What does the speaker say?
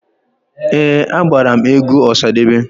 Ee, agbara m egwu Ọsadebe.